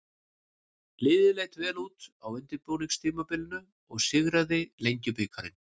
Liðið leit vel út á undirbúningstímabilinu og sigraði Lengjubikarinn.